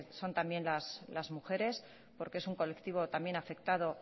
son también las mujeres porque es un colectivo también afectado